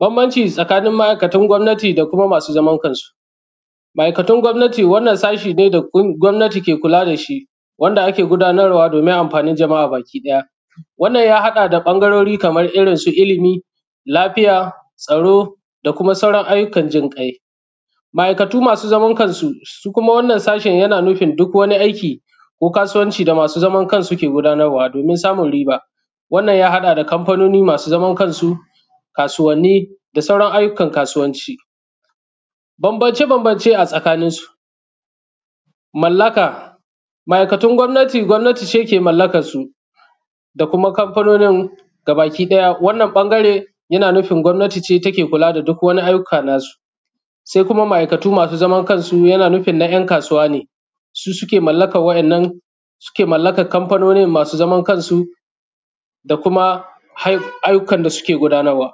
Banbanci tsakani ma’aikatan gwamnati da kuma masu zaman kansu, ma’aikatun gwamnati wannan sashi ne da gwanati ke kula da su wanda ake gudanarwa domin amfanin kowa wannan ya haɗa da ɓangarori kaman irin su ilimi, lafiya, tsaro da kuma sauran ayyukan jinƙai, ma’aikatu masu zaman kansu su kuma wannan sashin yana nufin duk wani aiki ko kasuwanci da masu zamankansu suke gudanarwa domin samun riba, wannan ha haɗa da kanfanoni masu zamankansu, kasuwanni da sauran ayyukaan kasuwanci. Bambance-bambance tsakanin su, ma’aikatun gwamnati, gwamnati ne ke mallakansu da kuma kanfanonin bakiɗaya wannan ɓangare yana nufin gwamnati ne take kula da duk wani ayyuka nasu, se kuma ma’aikatu masu zamankansu yana nufin na ‘yan kasuwa ne suke mallakan waɗannan, suke mallakan kanfanonin masu zamankansu da kuma ayyukan da suke gudanarwa.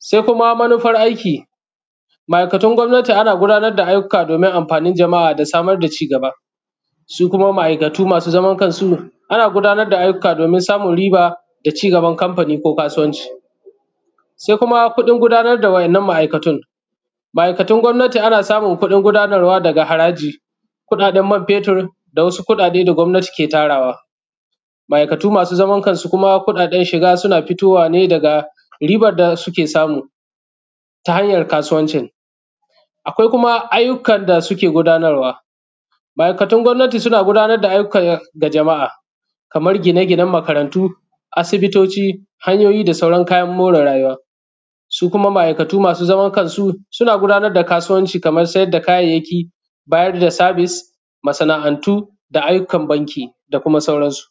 Se kuma manufar aiki. ma’aikata gwamnati ana gudanar da ayyuka domin a samar da ci gaba, su kuma ma’aikatu masu zamankansu ana gudanar da ayyuka domin samun riba da ci gaba kanfani ko kasuwanci. Se kuma kuɗin gudanar da wannan ma’aikatu ɗin, ma’aikatun gwamnati ana samun kuɗin gudanarwa daga haraji, kuɗaɗen man fetir da wasu kuɗaɗe da gwamnati ke Tarawa, ma’aikatu masu zamankansu kuɗaɗen shiga suna fitowa ne daga ribar da suke samu ta hanyan kasuwancin. Akwai kuma ayyukan da suke gudanarwa, ma’aikatun gwamnati suna gudanar da aiki ga jama’a kamar gine-ginen makarantu, asibitoci, hanyoyi da sauran kayan more rayuwa, su kuma ma’aikatu masuzaman kansu suna gudanar da kasuwanci kamar siyar da kayayyaki, bayar da sabis, masana’antu ayyukan banki da kuma sauransu.